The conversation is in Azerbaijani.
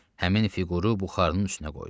Həmin fiquru buxarının üstünə qoydu.